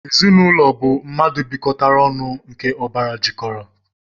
Ezinaūlo bu mmadu bikotara onu nke obara jikotara.